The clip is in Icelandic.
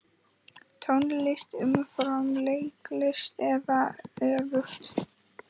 Tónlist umfram leiklist eða öfugt?